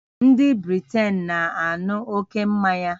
Ndị Britain na-aṅụ ókè mmanya